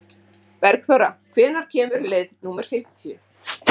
Bergþóra, hvenær kemur leið númer fimmtíu?